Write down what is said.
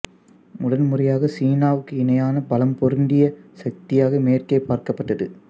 முதன்முறையாக சீனாவுகுக்கு இணையான பலம் பொருந்திய சக்தியாக மேற்கே பார்க்கப்பட்டது